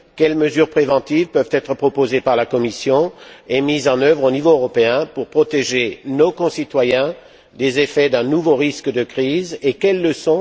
Quelles mesures préventives peuvent être proposées par la Commission et mises en œuvre au niveau européen pour protéger nos concitoyens des effets d'un nouveau risque de crise et quelles leçons ont été tirées des événements de l'hiver